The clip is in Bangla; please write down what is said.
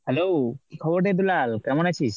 hello! কি খবর রে দুলাল? কেমন আছিস?